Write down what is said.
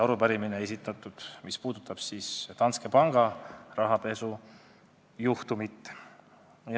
Arupärimine puudutab Danske panga rahapesujuhtumit.